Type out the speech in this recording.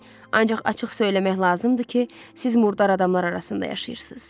Ancaq açıq söyləmək lazımdır ki, siz murdar adamlar arasında yaşayırsınız.